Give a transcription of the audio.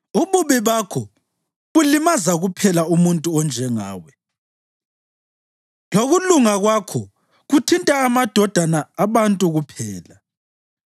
Ububi bakho bulimaza kuphela umuntu onjengawe, lokulunga kwakho kuthinta amadodana abantu kuphela.